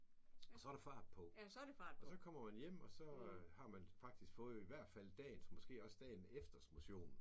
Og så der fart på. Og så kommer man hjem og så har man faktisk fået i hvert fald dagens måske også dagen efters motion